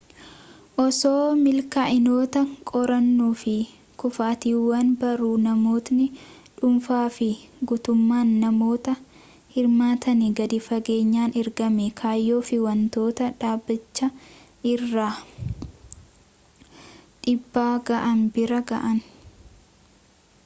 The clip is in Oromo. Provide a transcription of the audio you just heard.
osoo milkaa'inoota qorannuu fi kufaatiiwwan barruu namootni dhuunfaa fi guutummaan namoota hirmaatanii gadi fageenyaan ergama kayyoo fi wantoota dhaabbaticha irraan dhiibbaa ga'an bira ga'an